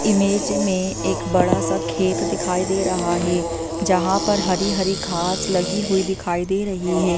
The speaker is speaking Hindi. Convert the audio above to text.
इमेज मे एक बड़ा सा खेत दिखाई दे रहा हैं जहाँ पर हरि हरि घास लगी हुई दिखाई दे रही है।